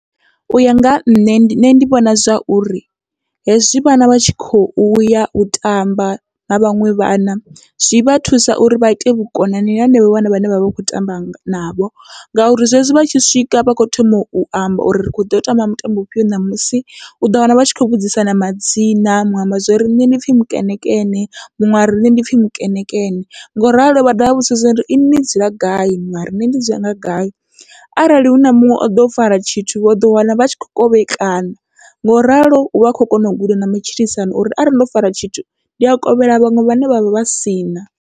Uya nga ha nṋe ndi nṋe ndi vhona zwa uri hezwi vhana vha tshi khou yau tamba na vhaṅwe vhana, zwi vha thusa uri vha ite vhukonani na henevho vhana vhane vha vha vha kho tamba navho, ngauri zwezwi vha tshi swika vha kho thoma u amba uri ri kho ḓo tamba mutambo mufhio ṋamusi, uḓo wana vha tshi kho vhudzisana madzina muṅwe amba zwori nṋe ndi pfhi mukenekene muṅwe ari nṋe ndi pfhi mukenekene ngoralo vha dovha vha vhudzisa uri inwi ni dzula gai mara nṋe ndi dzhena gai. Arali huna muṅwe oḓo o fara tshithu vho uḓo wana vha tshi kho kovhekana ngoralo uvha u kho kona u guda na matshilisano uri arali ndo fara tshithu ndi a kovhela vhaṅwe vhane vhavha vha sina.